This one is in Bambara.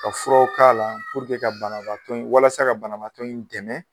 Ka fura k'a la ka banabaatɔ, walasa ka banabaatɔ dɛmɛ.